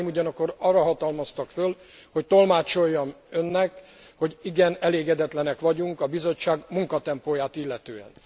Kollegáim ugyanakkor arra hatalmaztak föl, hogy tolmácsoljam Önnek, hogy igen elégedetlenek vagyunk a Bizottság munkatempóját illetően.